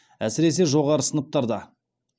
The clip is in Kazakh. әсіресе жоғары сыныптарда